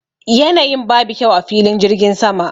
Yanayin babu kyau a filin jirgin sama